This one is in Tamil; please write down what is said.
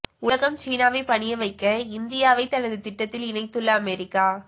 உலகம் சீனாவை பணிய வைக்க இந்தியாவை தனது திட்டத்தில் இணைத்துள்ள அமெரிக்கா